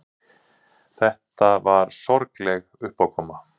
Þetta var sorgleg uppákoma.